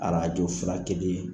Arajo Furakɛli ye.